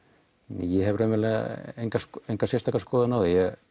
ég hef raunverulega enga enga skoðun á